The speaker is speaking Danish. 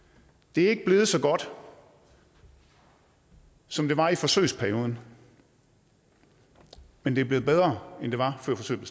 det er ikke blevet så godt som som det var i forsøgsperioden men det er blevet bedre end det var før forsøget